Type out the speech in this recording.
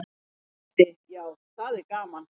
Jafnrétti já, það er gaman.